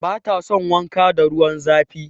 Bata son wanka da ruwan zafi.